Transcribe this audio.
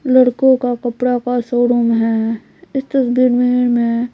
लड़कों का कपड़ा का शो रूम है इस तस्वीर में मैं--